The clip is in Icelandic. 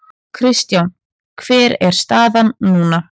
Kristján hver er staðan núna?